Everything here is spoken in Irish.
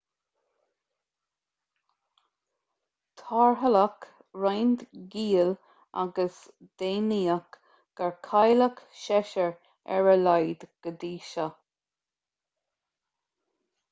tarrtháladh roinnt giall agus deimhníodh gur cailleadh seisear ar a laghad go dtí seo